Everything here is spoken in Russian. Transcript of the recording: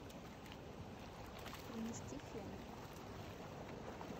принести фен